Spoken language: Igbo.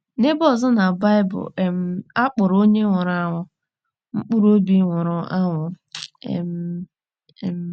N’ebe ọzọ na Baịbụl, um a kpọrọ onye nwụrụ anwụ ‘ mkpụrụ obi nwụrụ anwụ um. ’ um